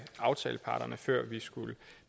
aftaleparterne før vi skulle